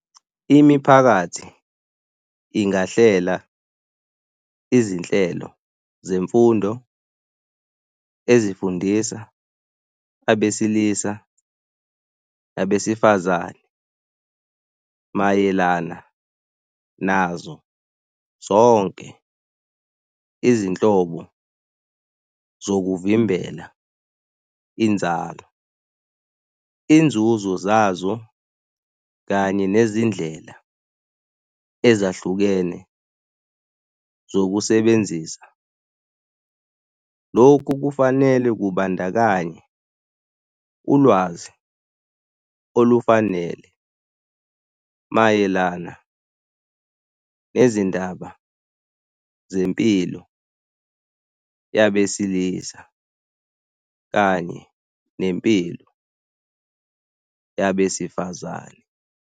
Imiphakathi ingahlela Izinhlelo zemfundo ezifundisa abesilisa nabesifazane mayelana nazo zonke izinhlobo zokuvimbela inzalo, inzuzo zazo, kanye nezindlela ezahlukene zokusebenzisa. Lokhu kufanele kubandakanye ulwazi olufanele mayelana nezindaba zempilo yabesilisa kanye nempilo yabesifazane.